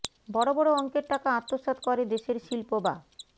বড় বড় অঙ্কের টাকা আত্মসাৎ করে দেশের শিল্প বা